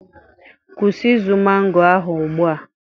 Kwụsị izu mango ahụ ugbu a